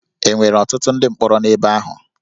E nwere ọtụtụ ndị mkpọrọ n'ebe ahụ?